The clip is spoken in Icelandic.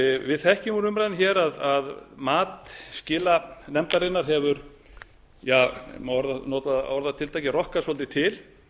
við þekkjum úr umræðunni að mat skilanefndarinnar hefur ef noa má orðatiltæki rokkað svolítið til